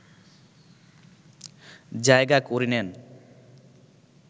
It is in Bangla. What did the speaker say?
জায়গা করে নেন